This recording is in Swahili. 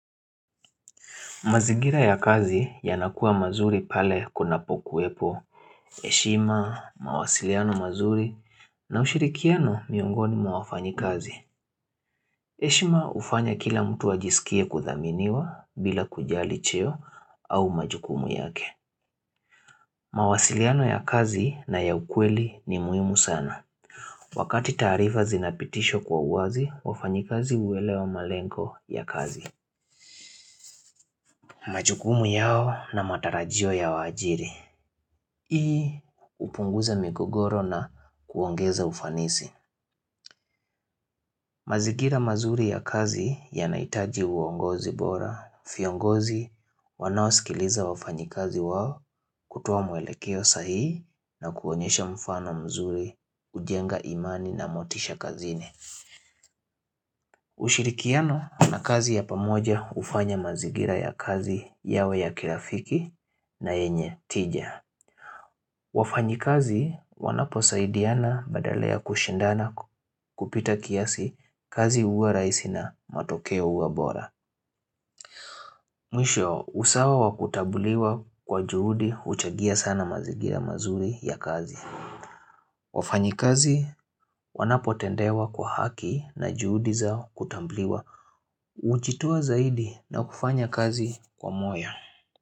Mazigira ya kazi yanakuwa mazuri pale kunapokuepo, heshima, mawasiliano mazuri, na ushirikiano miongoni mwa wafanyikazi. Heshima hufanya kila mtu ajisikie kuthaminiwa bila kujali cheo au majukumu yake. Mawasiliano ya kazi na ya ukweli ni muhimu sana. Wakati taarifa zinapitishwa kwa uwazi, wafanyikazi huelewa malengo ya kazi. Majukumu yao na matarajio ya wajiri. Hii hupunguza mikogoro na kuongeza ufanisi. Mazigira mazuri ya kazi yanahitaji uongozi bora. Viongozi wanawasikiliza wafanyikazi wao kutoa mwelekeo sahihi na kuonyesha mfano mzuri hujenga imani na motisha kazini. Ushirikiano na kazi ya pamoja hufanya mazingira ya kazi yao ya kirafiki na yenye tija. Wafanyikazi wanaposaidiana badala ya kushindana kupita kiasi kazi huwa rahisi na matokeo huwa bora Mwisho usawa wa kutambuliwa kwa juhudi huchangia sana mazingira mazuri ya kazi wafanyi kazi wanapo tendewa kwa haki na juhudi zao kutambuliwa hujitoa zaidi na kufanya kazi kwa moyo.